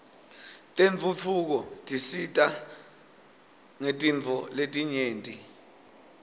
tentfutfuko tisisita ngetintfo letinyenti